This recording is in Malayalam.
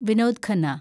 വിനോദ് ഖന്ന